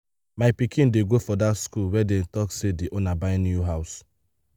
my pikin dey go for dat school where dey talks say the owner buy new house